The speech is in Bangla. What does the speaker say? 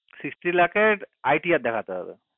sixty lacs এর ITR দেখতে হবে